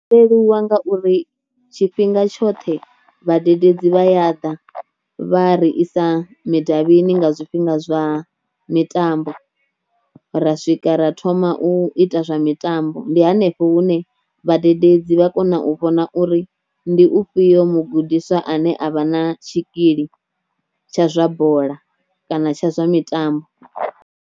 Zwo leluwa ngauri tshifhinga tshoṱhe vhadededzi vha ya ḓa vha ri isa midavhini nga zwifhinga zwa mitambo ra swika ra thoma u ita zwa mitambo ndi hanefho hune vhadededzi vha kona u vhona uri ndi u fhio mugudiswa ane a vha na tshikili tsha zwa bola kana tsha zwa mitambo.